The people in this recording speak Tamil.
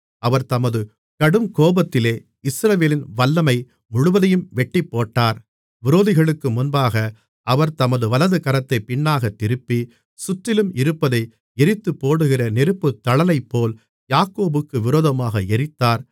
அவர் தமது கடுங்கோபத்திலே இஸ்ரவேலின் வல்லமை முழுவதையும் வெட்டிப்போட்டார் விரோதிகளுக்கு முன்பாக அவர் தமது வலதுகரத்தைப் பின்னாகத் திருப்பி சுற்றிலும் இருப்பதை எரித்துப்போடுகிற நெருப்புத்தழலைப்போல் யாக்கோபுக்கு விரோதமாக எரித்தார்